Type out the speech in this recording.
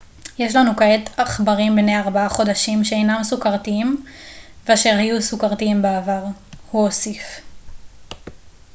יש לנו כעת עכברים בני 4 חודשים שאינם סוכרתיים ואשר היו סוכרתיים בעבר הוא הוסיף